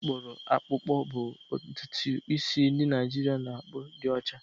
Isi akpuru akpukpo bụ ntutu isi ndị Naijiria na-akpụ di ocha.